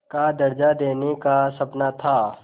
का दर्ज़ा देने का सपना था